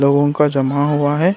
लोगों का जुम्मा हुआ है।